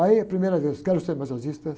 Aí a primeira vez, quero ser massagista.